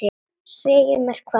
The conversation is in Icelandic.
Segja mér hvað?